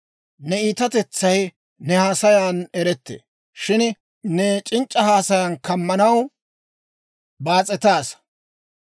Ne iitatetsay ne haasayan erettee; shin ne c'inc'c'a haasayaan kamanaw baas'etaassa.